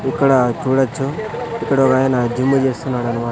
ఇక్కడ చూడచ్చు ఇక్కడొగాయన జిమ్ చేస్తున్నాడనమా--